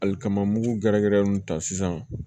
Ali kaman mugu gɛrɛgɛrɛ nunnu ta sisan